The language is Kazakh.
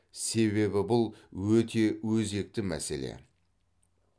себебі бұл өте өзекті мәселе